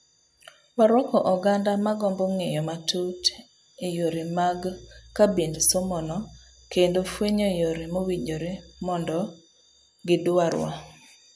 Waruako ogando magombo ng'eyo matut eyore mag ekabind somono kendo fuenyo yore mowinjore mondo gidwar wa.